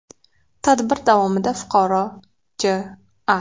Tadbir davomida fuqaro J.A.